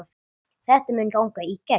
Þetta mun ganga í gegn.